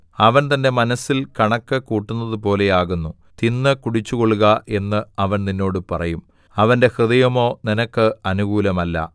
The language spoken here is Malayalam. അവൻ തന്റെ മനസ്സിൽ കണക്ക് കൂട്ടുന്നതുപോലെ ആകുന്നു തിന്നു കുടിച്ചുകൊള്ളുക എന്ന് അവൻ നിന്നോട് പറയും അവന്റെ ഹൃദയമോ നിനക്ക് അനുകൂലമല്ല